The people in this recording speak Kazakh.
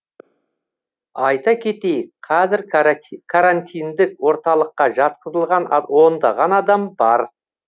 айта кетейік қазір карантиндік орталыққа жатқызылған ондаған адам бар